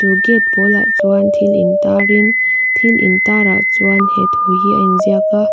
gate pawl ah chuan thil in tar in thil intar ah chuan he thu hi a inziak a.